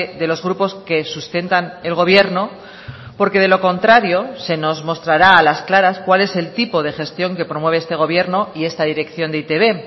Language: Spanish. de los grupos que sustentan el gobierno porque de lo contrario se nos mostrará a las claras cuál es el tipo de gestión que promueve este gobierno y esta dirección de e i te be